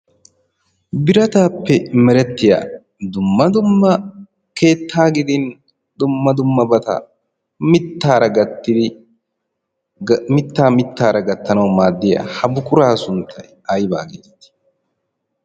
Birataappe merettiya dumma dumma keettaa gidin dumma dummabata mittaara gattidi mittaa mittaara gaytanawu maaddiya ha buqurata sunttay aybaa geetettii?